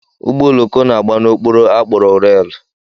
Ụgbọ oloko na-agba n'okporo a kpọrọ reelụ